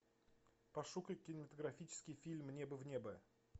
пошукай кинематографический фильм мне бы в небо